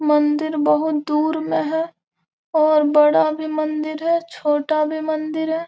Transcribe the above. मंदिर बहुत दूर में है और बढ़ा भी मंदिर है छोटा भी मंदिर है।